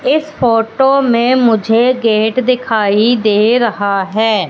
इस फोटो में मुझे गेट दिखाई दे रहा है।